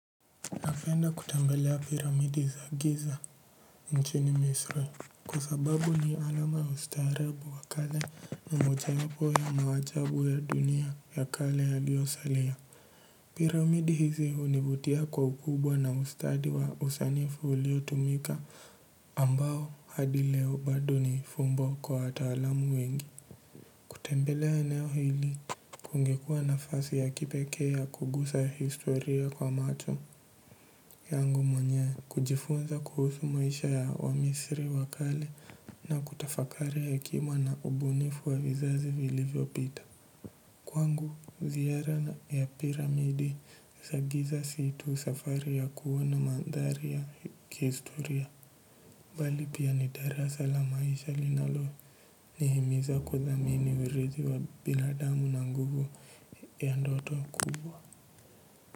Napenda kutembelea piramidi za Giza nchini Misiri. Kwa sababu ni alama ya ustaarabu wa kale moja wapo ya maajabu ya dunia ya kale yaliyosalia. Piramidi hizi hunivutia kwa ukubwa na ustadi wa usanifu uliotumika ambao hadi leo ni fumbo kwa wataalam wengi. Kutembelea eneo hili kungekua nafasi ya kipekee ya kugusa historia kwa macho yangu mwenyewe. Kujifunza kuhusu maisha ya wamisri wa kale na kutafakari hekima na ubunifu wa vizazi vilivyo pita. Kwangu ziara ya piramidi za giza si tu safari ya kuona mandhari ya kihistoria bali pia ni darasa la maisha linalo nihimiza kudhamini uridhi wa binadamu na nguvu ya ndoto kubwa.